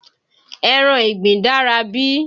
Ẹran ìgbín dára bí?